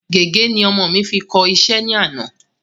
Gègé ni ọmọ mi fi kọ iṣẹ́ ní àná